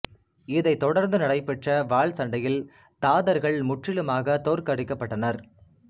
இதைத் தொடர்ந்து நடைபெற்ற வாள் சண்டையில் தாதர்கள் முற்றிலுமாகத் தோற்கடிக்கப்பட்டனர்